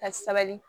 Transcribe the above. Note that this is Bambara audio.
Ka sabali